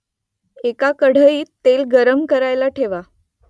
एका कढईत तेल गरम करायला ठेवा